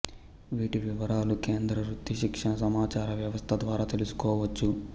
వీటి వివరాలు కేంద్ర వృత్తి శిక్షణ సమాచార వ్యవస్థ ద్వారా తెలుసుకోవచ్చు